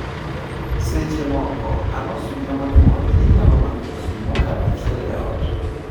Seche moko, anosmia monyuol l nyalo mako ji mokalo achiel e ot.